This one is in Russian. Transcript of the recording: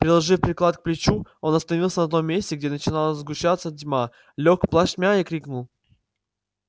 приложив приклад к плечу он остановился на том месте где начинала сгущаться тьма лёг плашмя и крикнул